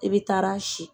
I bɛ taa si